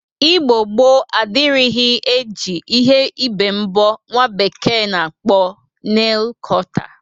Igbo gboo adịrịghị e ji ihe ibe mbọ nwa bekee na-akpọ neil kọta.